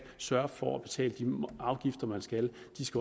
sørger for at betale de afgifter man skal